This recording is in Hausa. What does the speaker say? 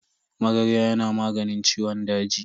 Magarya yana maganin ciwon daji.